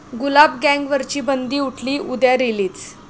गुलाब गँग'वरची बंदी उठली, उद्या रिलीज